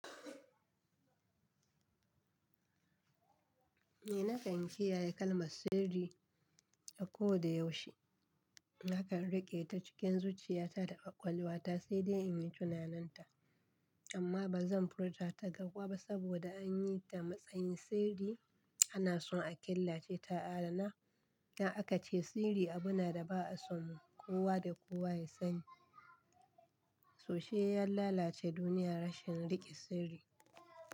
Ni nakan kiyaye kalmar sirri a ko da yaushe. Nakan riƙe ta cikin zuciya ta da ƙwaƙwalwa ta sai dai in yi tunaninta. Amma ba zan furta ta gaba ba saboda an yi ta matsayin sirri ana son a killace ta adana. Dan akace sirri abune da ba a so kowa da kowa ya sani. Sosai ya lalace duniya rashin riƙe sirri.